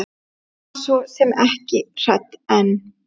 Hún var svo sem ekki hrædd en.